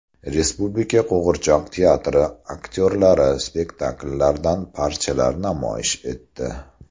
Respublika qo‘g‘irchoq teatri aktyorlari spektakllardan parchalar namoyish etdi.